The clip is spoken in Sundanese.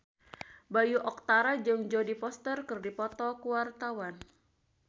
Bayu Octara jeung Jodie Foster keur dipoto ku wartawan